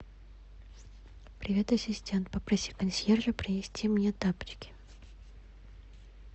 привет ассистент попроси консьержа принести мне тапочки